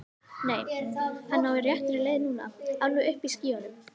Nei, hann er á réttri leið núna. alveg uppi í skýjunum.